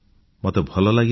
ମୋତେ ଭଲ ଲାଗିଲା